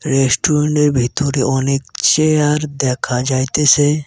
Restaurant -এর ভিতরে অনেক চেয়ার দেখা যাইতেসে।